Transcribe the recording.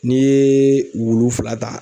N'i ye wulu fila ta